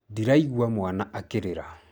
Ndĩraigua mwaana akĩrĩra.